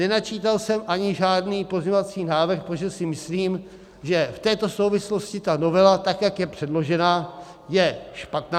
Nenačítal jsem ani žádný pozměňovací návrh, protože si myslím, že v této souvislosti ta novela, tak jak je předložena, je špatná.